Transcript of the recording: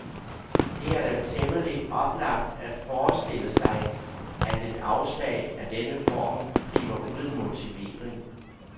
Det er da temmelig oplagt at forestille sig, at et afslag af denne form bliver uden motivering.